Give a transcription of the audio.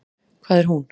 Hvað er hún?